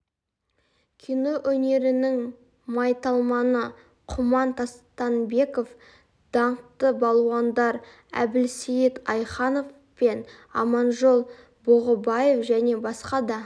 кино өнерінің майталманы құман тастанбеков даңқты балуандар әбілсейіт айханов пен аманжол бұғыбаев және басқа да